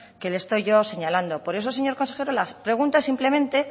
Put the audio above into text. que le estoy yo señalando por eso señor consejero la pregunta simplemente